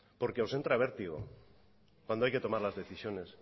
porque os entra vértigo cuando hay que tomar las decisiones